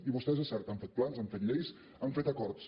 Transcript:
i vostès és cert han fet plans han fet lleis han fet acords